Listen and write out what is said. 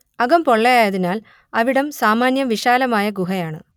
അകം പൊള്ളയായതിനാൽ അവിടം സാമാന്യം വിശാലമായ ഗുഹയാണ്